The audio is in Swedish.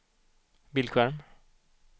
bildskärm